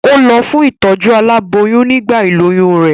Ó lọ fún ìtọ́jú aláboyún nígbà ìlóyún rẹ̀.